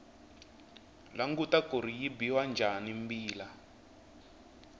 languta kuri yi biwa njhani mbila